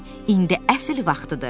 İndi əsl vaxtıdır.